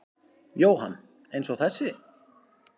Jóhann: Eins og þessi?